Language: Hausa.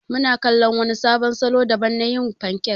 Muna kala wani sabon salo daban na yin fankek.